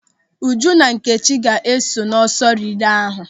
Uju na Nkechi ga-esonye n'ọsọ rilee ahụ.